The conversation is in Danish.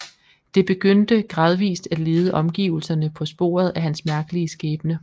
Det begyndte gradvist at lede omgivelserne på sporet af hans mærkelige skæbne